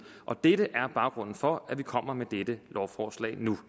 og det er baggrunden for at vi kommer med dette lovforslag nu